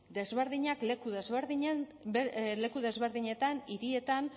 desberdinak leku desberdinetan hirietan